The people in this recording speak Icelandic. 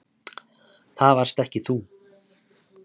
Það varst ekki þú.